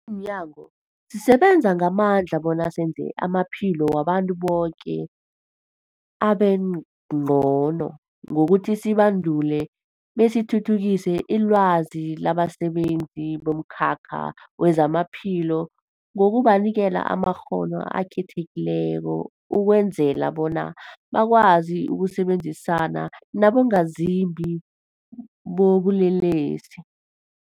Simnyango, sisebenza ngamandla bona senze amaphilo wabantu boke abengcono ngokuthi sibandule besithuthukise ilwazi labasebenzi bomkhakha wezamaphilo ngokubanikela amakghono akhethekileko ukwenzela bona bakwazi ukusebenzisana nabongazimbi bobulelesi.